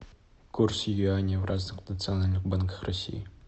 курс юаня в разных национальных банках россии